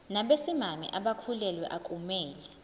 nabesimame abakhulelwe akumele